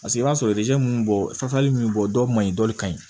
Paseke i b'a sɔrɔ ninnu bɔ ka min bɔ dɔw man ɲi dɔ ka ɲi